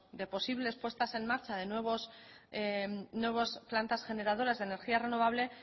de posibles puestas en marcha de nuevas plantas generadoras de energía renovable